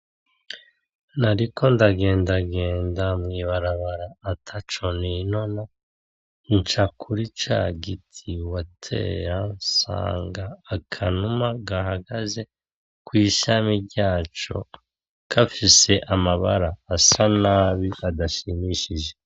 Nariko ndagendagenda mwibarabara ataco ninona nca kuri cagiti watera nsanga akanuma gahagaze kwishami ryaco gafise amabara asa nabi adashimishije